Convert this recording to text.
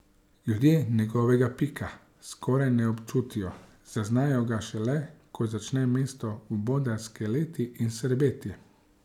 Ljudje njegovega pika skoraj ne občutijo, zaznajo ga šele, ko začne mesto vboda skeleti in srbeti.